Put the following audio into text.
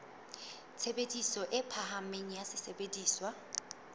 tshebediso e phahameng ya sesebediswa